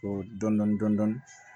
Ɔ dɔndɔnni